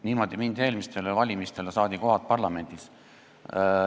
Niimoodi mindi eelmistele valimistele ja saadi kohad parlamendis.